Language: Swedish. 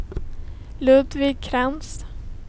Ludvig Krantz